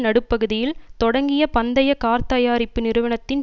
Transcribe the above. நடுப்பகுதியில் தொடங்கிய பந்தய கார்த்தயாரிப்பு நிறுவனத்தின்